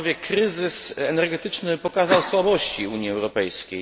Kryzys energetyczny pokazał słabości Unii Europejskiej.